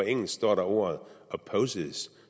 engelsk står der ordet opposes